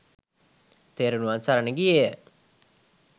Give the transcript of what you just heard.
තෙරුවන් සරණ ගියේ ය.